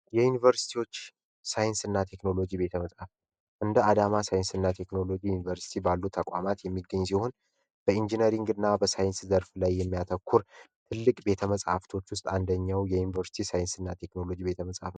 የዩኒቨርሲቲዎች ሳይንስና ቴክኖሎጂ ትምህርት ቤት በአዳማ ሳይንስና ቴክኖሎጂ ዩኒቨርሲቲ ባሉ ተቋማት የሚገኙ ሲሆን በሳይንስና በኢንጂነሪንግ ያተኮረ ትልቅ ቤተመፃፍቶች ውስጥ አንደኛው ይህ ቤተ መጻህፍት ሆኖ እናገኘዋለን።